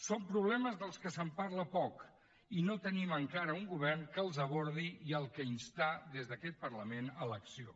són problemes dels quals se’n parla poc i no tenim encara un govern que els abordi i al qual instar des d’aquest parlament a l’acció